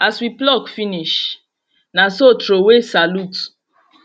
as we pluck finish na so throw way salute